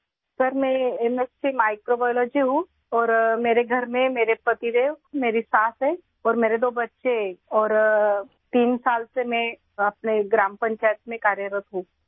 سر، میں M S C microbiology ہوں اور گھر میں میرے شوہر، میری ساس اور دو بچے ہیں اور میں تین سال سے اپنی گرام پنچایت میں کام کر رہی ہوں